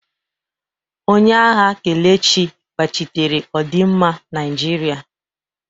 Onye agha Kelechi gbachitere ọdịmma Naijiria.